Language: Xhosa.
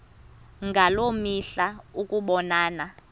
ngaloo mihla ukubonana